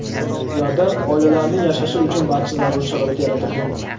Ularda oilalarning yashashi uchun barcha zarur sharoit yaratilgan.